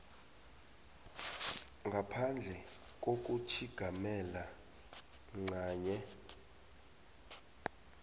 ngaphandle kokutjhigamela ncanye